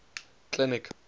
clinic